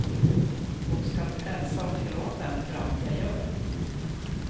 Hon skall frälsa och förlåta en för allt jag gör.